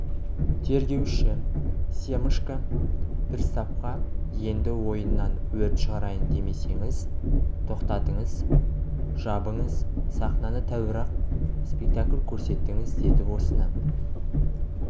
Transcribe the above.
тергеуші семашко приставқа енді ойыннан өрт шығарайын демесеңіз тоқтатыңыз жабыңыз сахнаны тәуір-ақ спектакль көрсеттіңіз деді осыны